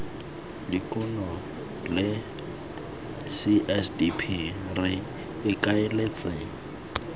dikuno la csdp re ikaeletse